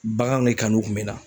Baganw de kanu kun be n na.